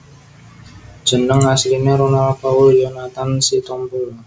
Jeneng asline Ronal Paul Yonathan Sitompul